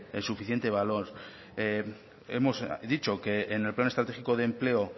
el suficiente valor hemos dicho que en el plan estratégico de empleo